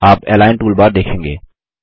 आप align toolbar देखेंगे